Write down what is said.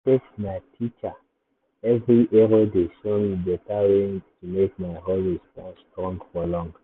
mistakes na teacher! every error dey show me better way to make my hustle stand strong for long.